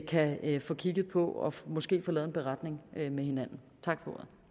kan få kigget på og måske få lavet en beretning med hinanden tak